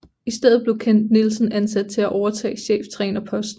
I stedet blev Kent Nielsen ansat til at overtage cheftrænerposten